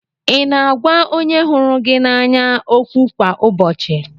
Ị na-agwa onye hụrụ gị n'anya okwu kwa ụbọchị?